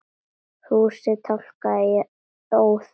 Fúsi tálgaði í óða önn.